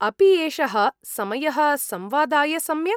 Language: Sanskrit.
अपि एषः समयः संवादाय सम्यक्?